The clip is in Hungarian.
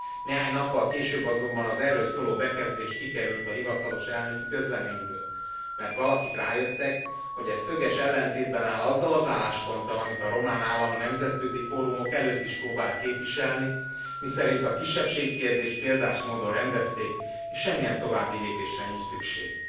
Néhány nappal később azonban az erről szóló bekezdés kikerült a hivatalos elnöki közleményből, mert valakik rájöttek, hogy ez szöges ellentétben áll azzal az állásponttal, amit a román állam a nemzetközi fórumok előtt is próbál képviselni, miszerint a kisebbségi kérdést példás módon rendezték és semmilyen további lépésre nincs szükség.